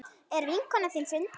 Er vinkona þín fundin?